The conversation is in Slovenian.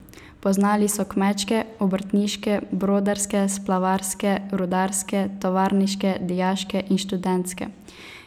Poznali so kmečke, obrtniške, brodarske, splavarske, rudarske, tovarniške, dijaške in študentske.